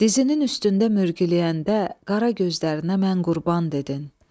Dizinin üstündə mürgüləyəndə, qara gözlərinə mən qurban dedin.